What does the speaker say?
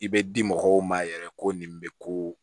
I bɛ di mɔgɔw ma yɛrɛ ko nin bɛ ko